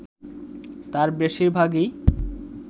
তার বেশিরভাগই